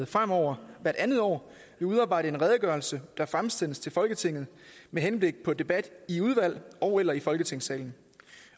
fremover hvert andet år vil udarbejde en redegørelse der fremsendes til folketinget med henblik på debat i udvalg ogeller i folketingssalen